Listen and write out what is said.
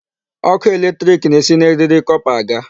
Ọkụ electric na-esi na eriri copper aga.